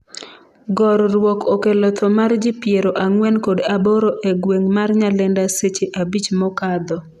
gorruok okello tho mar ji piero ang'wen kod aboro e gweng' ma Nyalenda seche abich mokadho